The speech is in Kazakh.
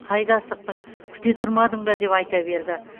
қайда асықтың күте тұрмадың ба деп айта берді